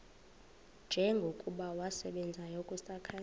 njengokuba wasebenzayo kusakhanya